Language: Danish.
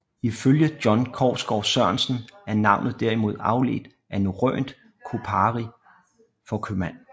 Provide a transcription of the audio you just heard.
Ifølge John Kousgård Sørensen er navnet derimod afledt af norrønt kōpari for købmand